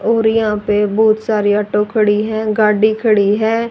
और यहां पे बहुत सारे ऑटो खड़ी है गाड़ी खड़ी है।